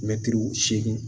Mɛtiri seegin